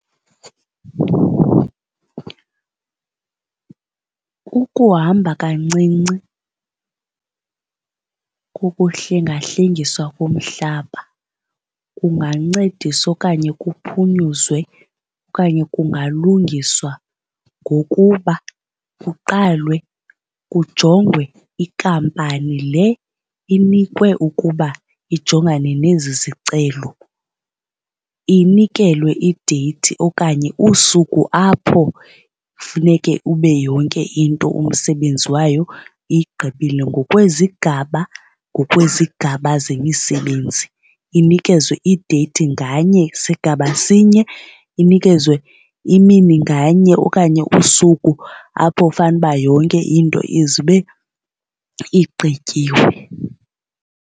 Kukuhamba kancinci kukuhlengahlengiswa komhlaba kungancedisa okanye kuphunyuzwe okanye kungalungiswa ngokuba kuqalwe kujongwe inkampani le inikwe ukuba ijongane nezi zicelo, inikelwe ideyithi okanye usuku apho funeke ube yonke into umsebenzi wayo igqibile ngokwezigaba ngokwezigaba zemisebenzi. Inikezwe ideyithi nganye sigaba sinye inikezewe imini nganye okanye usuku apho fanele uba yonke into ize ibe igqityiwe.